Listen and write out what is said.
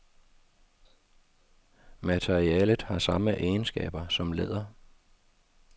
Materialet har samme egenskaber som læder.